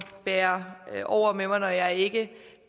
bære over med mig når jeg ikke